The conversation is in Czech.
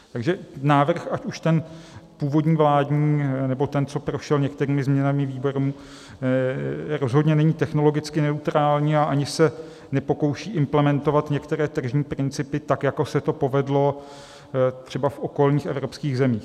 Takže návrh, ať už ten původní vládní, nebo ten, co prošel některými změnami výborů, rozhodně není technologicky neutrální a ani se nepokouší implementovat některé tržní principy, tak jako se to povedlo třeba v okolních evropských zemích.